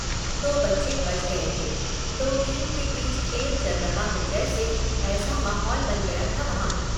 दो बच्चे बच गए थे। दो टीम के बीच खेल चल रहा हो जैसे, ऐसा माहौल बन गया था वहां।